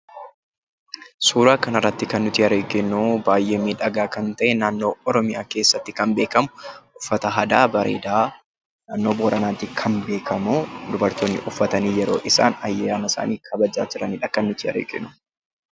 Suuraa kanarratti kan nuti arginu baay'ee miidhagaa kan ta'e naannoo Oromiyaa keessatti kan beekamu uffata aadaa bareedaa nannoo Booranaatti kan beekamu dubartoonni uffatanii yeroo isaan ayyaana isaanii kabajaa jiran kan arginudha.